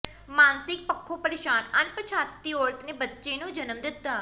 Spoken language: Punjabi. ਮਾਨਸਿਕ ਪੱਖੋਂ ਪਰੇਸ਼ਾਨ ਅਣਪਛਾਤੀ ਔਰਤ ਨੇ ਬੱਚੇ ਨੂੰ ਜਨਮ ਦਿੱਤਾ